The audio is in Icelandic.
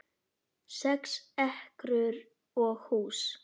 Sex ekrur og hús